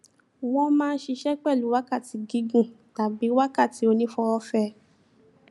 wọn máa n ṣiṣẹ pẹlú wákàtí gígùn tàbí wákàtí onífowófẹ